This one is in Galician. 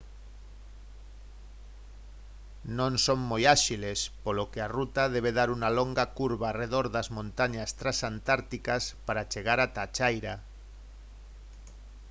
non son moi áxiles polo que a ruta debe dar unha longa curva arredor das montañas transantárticas para chegar ata a chaira